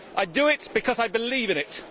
I do it because I believe in it.